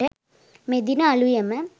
මෙදින අලුයම